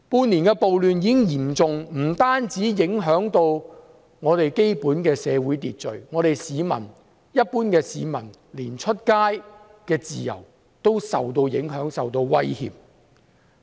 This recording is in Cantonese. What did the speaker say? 半年嚴重暴亂不單影響社會秩序，連市民外出的自由也受到影響和威脅。